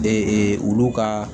Ee olu ka